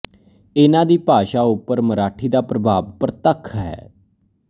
ਇਨ੍ਹਾਂ ਦੀ ਭਾਸ਼ਾ ਉੱਪਰ ਮਰਾਠੀ ਦਾ ਪ੍ਰਭਾਵ ਪ੍ਰਤੱਖ ਹੈ